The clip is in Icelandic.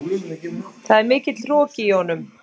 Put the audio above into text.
Það er mikill hroki í honum.